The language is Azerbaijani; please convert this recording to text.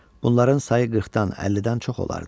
Bunların sayı 40-dan 50-dən çox olardı.